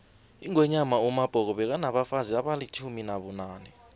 ingwenyama umabhoko bekanabafazi abalitjumi nabunane